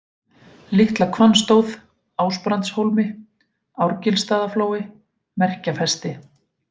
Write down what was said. Litla-Hvannstóð, Ásbrandshólmi, Árgilsstaðaflói, Merkjafesti